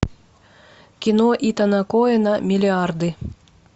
кино итана коэна миллиарды